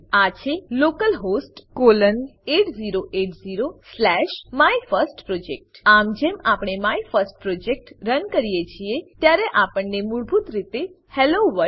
આ છે localhost colon 8080 slash my first project આમ જેમ આપણે માયફર્સ્ટપ્રોજેક્ટ રન કરીએ છીએ ત્યારે આપણને મૂળભૂત રીતે હેલોવર્લ્ડ